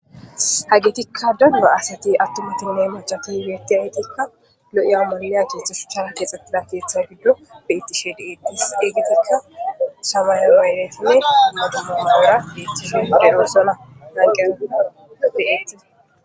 Hagetika daro asati atumatine mac'c'ati betiyaytika lo'iya maliya shuchara kexetida ketha gidon betishe de'etes hegetika semeyawene bota mayirageti betishe lanqiyan de'etes.